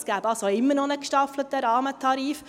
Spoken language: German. Es gäbe also immer noch einen gestaffelten Rahmentarif.